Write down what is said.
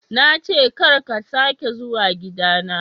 Na ce ka ka sake zuwa gida na.